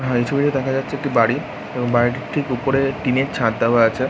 হ্যাঁ এই ছবিতে দেখা যাচ্ছে একটি বাড়ি এবং বাড়িটির ঠিক উপরে টিনের ছাদ দেওয়া আছে ।